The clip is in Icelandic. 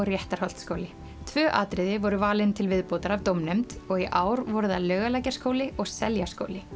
Réttarholtsskóli tvö atriði voru valin til viðbótar af dómnefnd og í ár voru það Laukalækjaskóli og Seljaskóli